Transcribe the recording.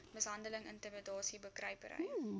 mishandeling intimidasie bekruipery